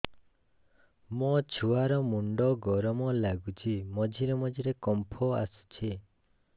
ମୋ ଛୁଆ ର ମୁଣ୍ଡ ଗରମ ଲାଗୁଚି ମଝିରେ ମଝିରେ କମ୍ପ ଆସୁଛି